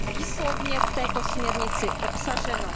Je to výslovně v této směrnici obsaženo.